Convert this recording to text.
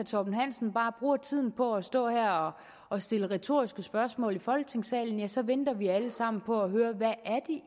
torben hansen bare bruger tiden på at stå og stille retoriske spørgsmål her i folketingssalen ja så venter vi alle sammen på at høre hvad det